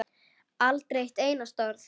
Aldrei eitt einasta orð.